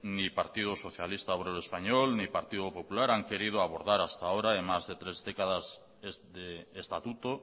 ni partido socialista obrero español ni partido popular han querido abordar hasta ahora en más de tres décadas de estatuto